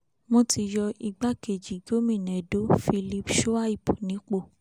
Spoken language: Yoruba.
wọ́n ti yọ igbákejì gómìnà edo philip shuaib nípò